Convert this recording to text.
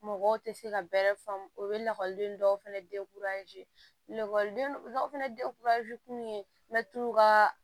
Mɔgɔw tɛ se ka bɛrɛ faamu o bɛ lakɔliden dɔw fana lakɔlidenw dɔw fana kun ye ka